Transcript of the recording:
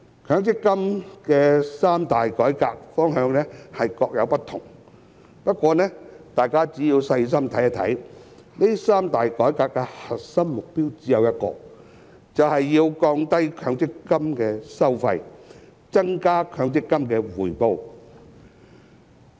強積金的三大改革方向各有不同，不過，大家只要細心一看，這三大改革的核心目標只有一個，就是要降低強積金的收費、增加強積金的回報。